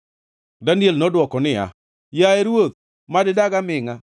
Daniel nodwoko niya, “Yaye ruoth, mad idag amingʼa!”